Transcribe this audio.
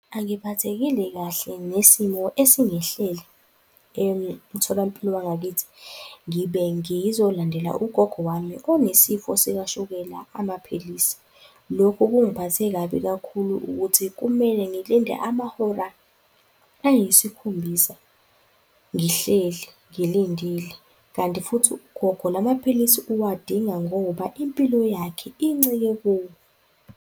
Angiphathekile kahle ngesimo esingehlele emtholampilo wangakithi. Ngibe ngizolandela ugogo wami onesifo sikashukela amaphilisi. Loko kungiphathe kabi kakhulu ukuthi kumele ngilinde amahora ayisikhombisa ngihleli, ngilindile kanti futhi ugogo la maphilisi uwadinga ngoba impilo yakhe incike kuwo.